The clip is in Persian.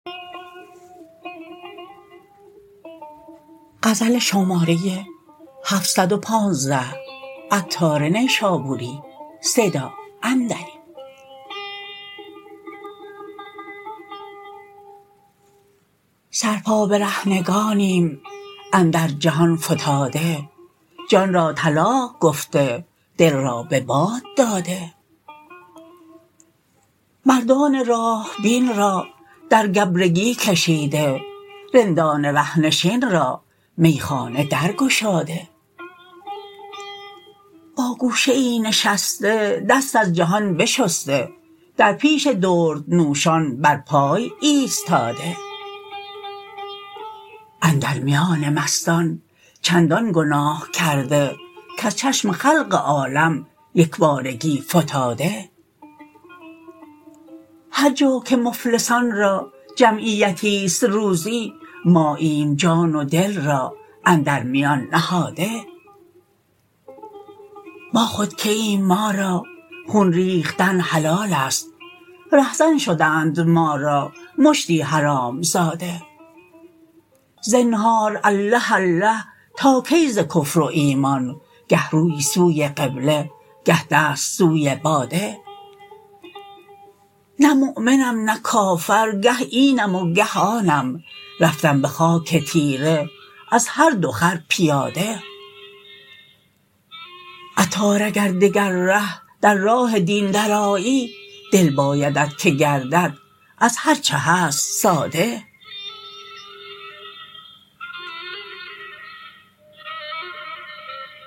سر پا برهنگانیم اندر جهان فتاده جان را طلاق گفته دل را به باد داده مردان راه بین را در گبرکی کشیده رندان ره نشین را میخانه در گشاده با گوشه ای نشسته دست از جهان بشسته در پیش دردنوشان بر پای ایستاده اندر میان مستان چندان گناه کرده کز چشم خلق عالم یکبارگی فتاده هرجا که مفلسان را جمعیتی است روزی ماییم جان و دل را اندر میان نهاده ما خود که ایم ما را خون ریختن حلال است رهزن شدند ما را مشتی حرام زاده زنهار الله الله تا کی ز کفر و ایمان گه روی سوی قبله گه دست سوی باده نه مؤمنم نه کافر گه اینم و گه آنم رفتم به خاک تاریک از هر دو خر پیاده عطار اگر دگر ره در راه دین درآیی دل بایدت که گردد از هرچه هست ساده